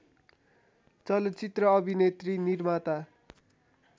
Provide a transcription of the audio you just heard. चलचित्र अभिनेत्री निर्माता